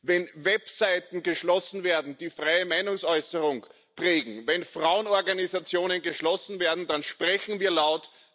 wenn Websites geschlossen werden, die freie Meinungsäußerung prägen, wenn Frauenorganisationen geschlossen werden, dann sprechen wir laut.